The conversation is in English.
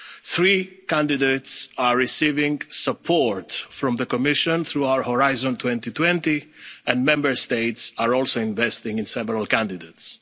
Three candidates are receiving support from the Commission through our Horizon 2020 programme, and Member States are also investing in several candidates.